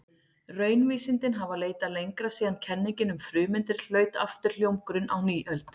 Raunvísindin hafa leitað lengra síðan kenningin um frumeindir hlaut aftur hljómgrunn á nýöld.